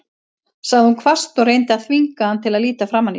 sagði hún hvasst og reyndi að þvinga hann til að líta framan í sig.